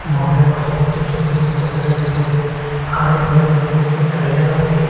বোর্ডের পাশে একটি চোকির মতো দেখা যাইতেসে হার এ ঘরের ভিতরে একটি তারিয়া রইসে।